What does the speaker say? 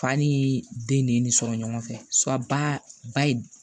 Fa ni den de ye nin sɔrɔ ɲɔgɔn fɛ ba ye